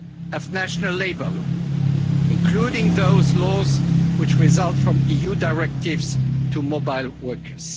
proper application of national labour law, including those laws which result, from EU directives, to